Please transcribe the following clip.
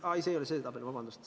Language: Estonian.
Aa, ei, see ei ole see tabel!